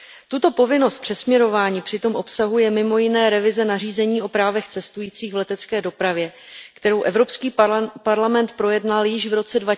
Tuto povinnost přesměrování přitom obsahuje mimo jiné revize nařízení o právech cestujících v letecké dopravě, kterou Evropský parlament projednal již v roce